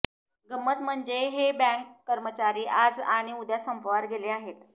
गंमत म्हणजे हे बँक कर्मचारी आज आणि उद्या संपावर गेले आहेत